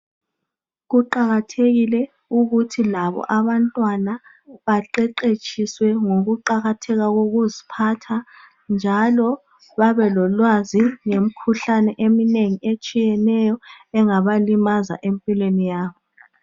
Kuqakathekile ukuthi labo abantwana baqeqeshiswe ngoqakatheka kokuziphatha njalo babe lolwazi ngemkhuhlane eminengi etshiyeneyo engaba limaza empilweni yabo